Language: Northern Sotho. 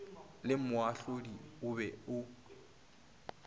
le moahlodi o be o